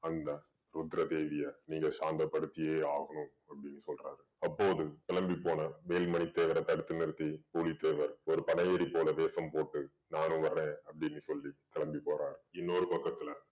அந்த ருத்ரதேவிய நீங்க சாந்தபடுத்தியே ஆகணும் அப்படீன்னு சொல்றாரு. அப்போது கிளம்பி போன வேலு மணி தேவர தடுத்து நிறுத்தி புலித்தேவர் ஒரு போல வேசம் போட்டு நானும் வர்றேன் அப்படீன்னு சொல்லி கிளம்பி போறாரு. இன்னொரு பக்கத்துல